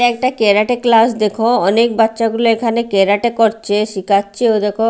এটা একটা karate class দেখো অনেক বাচ্চাগুলো এখানে ক্যারাটে করছে শিখাচ্ছেও দেখো।